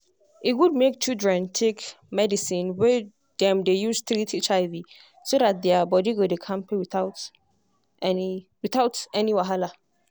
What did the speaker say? e good make children take medicine wey dem dey use treat hiv so that their body go dey kampe without any without any wahala.